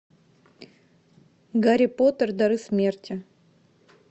гарри поттер дары смерти